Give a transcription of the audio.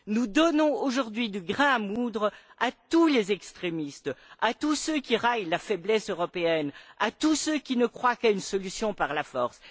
Nous donnons, aujourd'hui, du grain à moudre à tous les extrémistes, à tous ceux qui raillent la faiblesse européenne, à tous ceux qui ne croient qu'à une solution par la force.